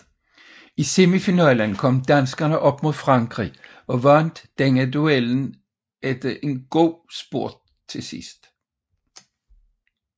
I semifinalen kom danskerne op mod Frankrig og vandt denne duel efter en god spurt til sidst